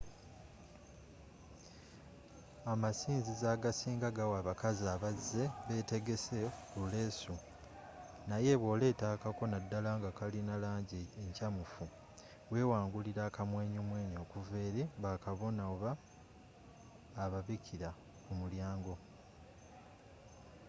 amasinzizo agasinga gawa abakazi abazze batetegese buleesu naye bwoleeta akako naddala nga kalina langi enkyamufu wewangulira akamwenyumwenyu okuva eri bakabona oba ababikira ku mulyango